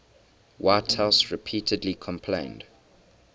whitehouse repeatedly complained